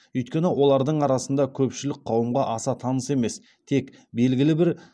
өйткені олардың арасында көпшілік қауымға аса таныс емес тек белгілі бір